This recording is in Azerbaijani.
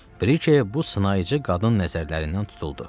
Brike bu sınayıcı qadın nəzərlərindən tutuldu.